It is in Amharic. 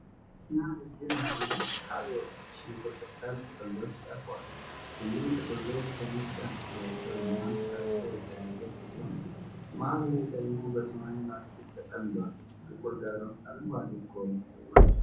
ትኩስ እና ረዥም የሆኑ ስካሊዮን (ሽንኩርት ቅጠል) ጥቅሎች ቀርበዋል። ሁሉም ጥቅሎች በነጭ አምፑላቸውና ሥራቸው የተያያዙ ሲሆን፣ መሀል ላይ ደግሞ በሰማያዊ ላስቲክ ተጠምደዋል። ጥቁር ዳራ ውስጥ አረንጓዴ ቀለም ጎልቶ ወጥቷል።